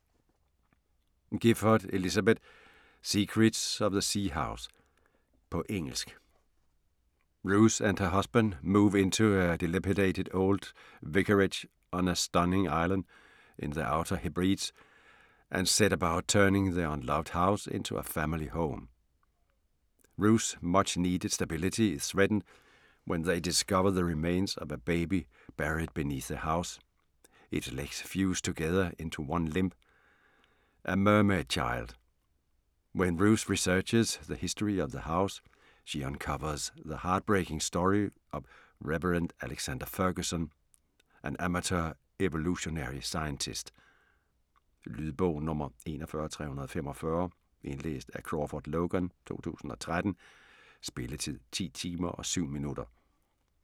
Gifford, Elisabeth: Secrets of the sea house På engelsk. Ruth and her husband move into a dilapidated old vicarage on a stunning island in the Outer Hebrides and set about turning the unloved house into a family home. Ruth's much-needed stability is threatened when they discover the remains of a baby buried beneath the house, its legs fused together into one limb - a mermaid child. When Ruth researches the history of the house, she uncovers the heart-breaking story of Reverend Alexander Ferguson, an amateur evolutionary scientist. Lydbog 41345 Indlæst af Crawford Logan, 2013. Spilletid: 10 timer, 7 minutter.